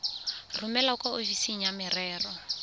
romele kwa ofising ya merero